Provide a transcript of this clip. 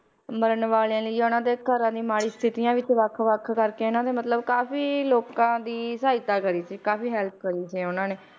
ਮਰਨ ਵਾਲਿਆਂ ਲਈਆਂ ਜਾਂ ਉਹਨਾਂ ਦੇ ਘਰਾਂ ਮਾੜੀ ਸਥਿਤੀਆਂ ਵਿੱਚ ਵੱਖ ਵੱਖ ਕਰਕੇ ਇਹਨਾਂ ਨੇ ਮਤਲਬ ਕਾਫ਼ੀ ਲੋਕਾਂ ਦੀ ਸਹਾਇਤਾ ਕਰੀ ਸੀ ਕਾਫ਼ੀ help ਕਰੀ ਸੀ ਉਹਨਾਂ ਨੇ